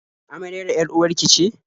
Amaryar 'yar-uwar ki ce?